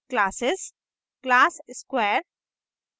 classes classes square